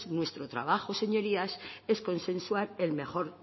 nuestro trabajo señorías es consensuar el mejor